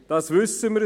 Das wissen wir.